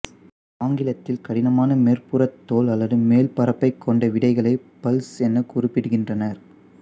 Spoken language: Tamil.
ஆங்கிலத்தில் கடினமான மேற்புறத் தோல் அல்லது மேல் பரப்பைக் கொண்ட விதைகளை பல்ஸ் என குறிப்பிடுகின்றனர்